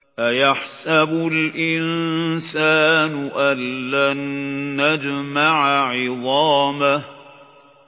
أَيَحْسَبُ الْإِنسَانُ أَلَّن نَّجْمَعَ عِظَامَهُ